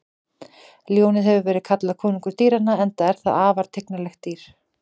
Ljónið hefur verið kallað konungur dýranna enda er það afar tignarlegt dýr.